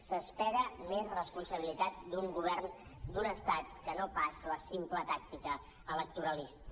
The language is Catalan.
s’espera més responsabilitat d’un govern d’un estat que no pas la simple tàctica electoralista